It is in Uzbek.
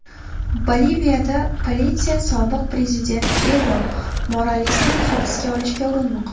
Boliviyada politsiya sobiq prezident Evo Moralesni hibsga olishga urinmoqda.